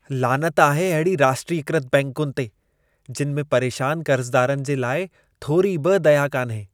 लानत आहे अहिड़ी राष्ट्रीयकृत बैंकुनि ते! जिनि में परेशान कर्ज़दारनि जे लाइ थोरी बि दया कान्हे।